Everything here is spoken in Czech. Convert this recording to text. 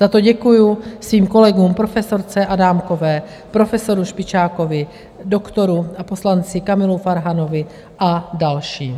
Za to děkuji svým kolegům profesorce Adámkové, profesoru Špičákovi, doktoru a poslanci Kamalu Farhanovi a dalším.